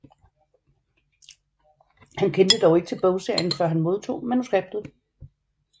Han kendte dog ikke til bogserien før han modtog manuskriptet